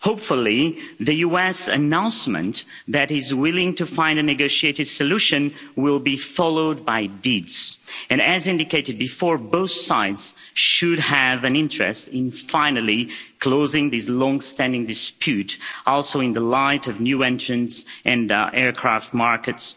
Hopefully, the US announcement that they are willing to find a negotiated solution will be followed by deeds, and, as indicated before, both sides should have an interest in finally closing this long standing dispute also in the light of new entrants on the aircraft markets.